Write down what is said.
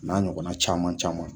N'a ɲɔgɔnna caman caman